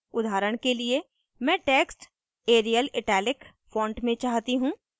उदाहरण के लिए मैं text arial italic font में चाहती हूँ